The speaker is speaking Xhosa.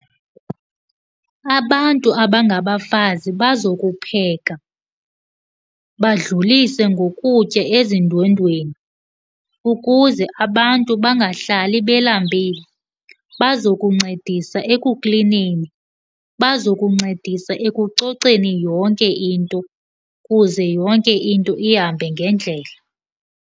Abantu abangabafazi bazokupheka, badlulise ngokutya ezindwendweni ukuze abantu bangahlali belambile. Bazokuncedisa ekuklineni, bazokuncedisa ekucoceni yonke into kuze yonke into ihambe ngendlela.